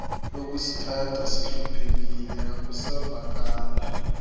lokusithatha sihluphekile akusavakali